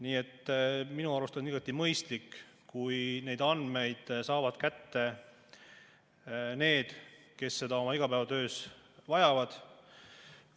Nii et minu arust on igati mõistlik, kui neid andmeid saavad kätte need, kes seda oma igapäevatöös vajavad.